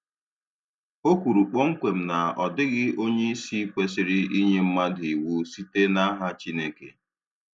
O kwuru kpọmkwem na ọ dịghị onye isi kwesịrị inye mmadụ iwu site n'aha Chineke.